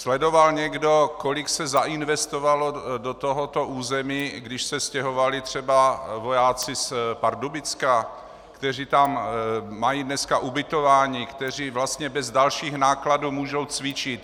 Sledoval někdo, kolik se zainvestovalo do tohoto území, když se stěhovali třeba vojáci z Pardubicka, kteří tam mají dneska ubytování, kteří vlastně bez dalších nákladů můžou cvičit?